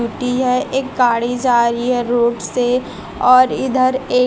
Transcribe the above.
हैं एक गाड़ी जा रही है रोड से और इधर एक--